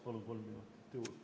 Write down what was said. Palun kolm minutit juurde!